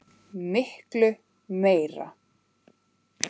Miklu meira.